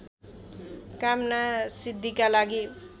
कामनासिद्धिका लागि